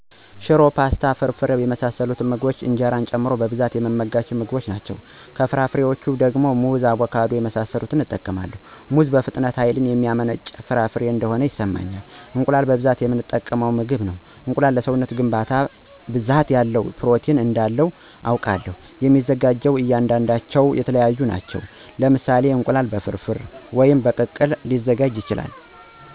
ሽሮ፣ ፖስታ፣ ፍርፍር የመሳሰሉት ምግቦች እንጀራን ጨምሮ በብዛት የምመገባቸው ናቸው። ከፍራፍሬዎች ደግሞ ሙዝ፣ አቦካዶ የመሳሰሉትን እጠቀማለሁ። ሙዝ በፍጥነት ሀይል የሚያመነጭልኝ ፍራፍሬ እነደሆነ ይሰማኛል። እንቁላልም በብዛት የምጠቀመው ምግብ ነው። እንቁላል ለሰውነት ግንባታ ብዛት ያለው ፕሮቲን እንዳለው አውቃለሁ። የሚዘጋጁት እያንዳንዳቸው የተለያዩ ናቸው። ለምሳሌ እንቁላል በፍርፍር ወይም ተቀቅሎ ሊዘጋጅ ይችላል።